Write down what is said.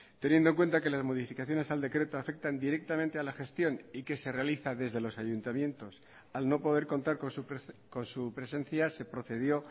teniendo en cuenta que las modificaciones al decreto afectan directamente a la gestión y que se realiza desde los ayuntamientos al no poder contar con su presencia se procedió